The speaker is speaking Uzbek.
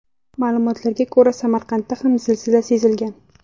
Ma’lumotlarga ko‘ra, Samarqandda ham zilzila sezilgan.